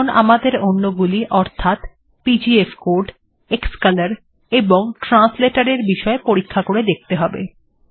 এখন আমাদের অন্যগুলি অর্থাৎ পিজিএফকোড ক্সকোলোর এবং translator এর বিষয় পরীক্ষা করে দেখতে হবে